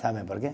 Sabe por quê?